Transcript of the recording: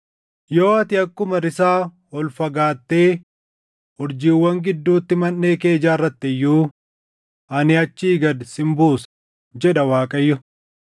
Yoo ati akkuma risaa ol fagaattee urjiiwwan gidduutti manʼee kee ijaarratte iyyuu, ani achii gad sin buusa” jedha Waaqayyo.